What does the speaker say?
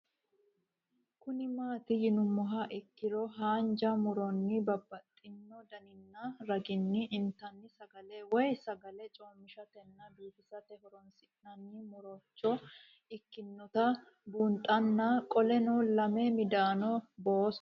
Kuni mati yinumoha ikiro hanja muroni babaxino daninina ragini intani sagale woyi sagali comishatenna bifisate horonsine'morich ikinota bunxana qoleno lame midano booso